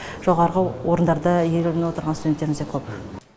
жоғарғы орындарда иеленіп отырған студенттеріміз де көп